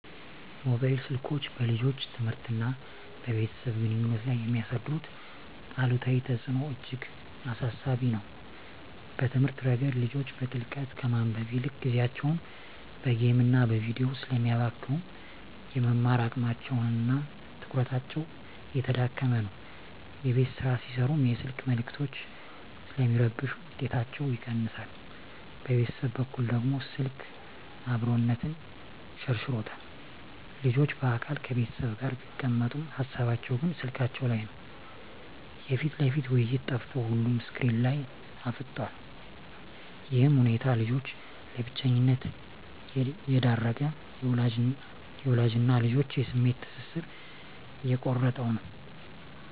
ሞባይል ስልኮች በልጆች ትምህርትና በቤተሰብ ግንኙነት ላይ የሚያሳድሩት አሉታዊ ተጽዕኖ እጅግ አሳሳቢ ነው። በትምህርት ረገድ፣ ልጆች በጥልቀት ከማንበብ ይልቅ ጊዜያቸውን በጌምና በቪዲዮ ስለሚያባክኑ፣ የመማር አቅማቸውና ትኩረታቸው እየተዳከመ ነው። የቤት ሥራ ሲሠሩም የስልክ መልዕክቶች ስለሚረብሹ ውጤታቸው ይቀንሳል። በቤተሰብ በኩል ደግሞ፣ ስልክ "አብሮነትን" ሸርሽሮታል። ልጆች በአካል ከቤተሰብ ጋር ቢቀመጡም፣ ሃሳባቸው ግን ስልካቸው ላይ ነው። የፊት ለፊት ውይይት ጠፍቶ ሁሉም ስክሪን ላይ አፍጥጧል። ይህ ሁኔታ ልጆችን ለብቸኝነት እየዳረገ፣ የወላጅና ልጅን የስሜት ትስስር እየቆረጠው ነው።